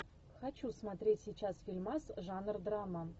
хочу смотреть сейчас фильмас жанр драма